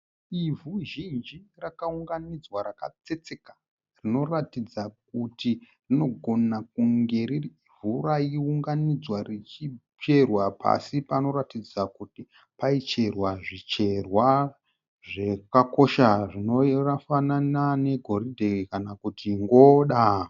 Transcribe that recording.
Ivhu zhinji rakaunganidzwa rakatsetseka zvinoratidza kuti rinogona kunge riri ivhu raiunganidzwa richicherwa pasi panoratidza kuti paicherwa zvicherwa zvakakosha zvinofanana ne goridhe kana kuti ngoda.